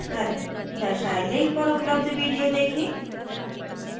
दर्शाये link पर उपलब्ध video देखें